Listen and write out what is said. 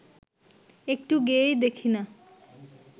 একটু গেয়েই দেখি না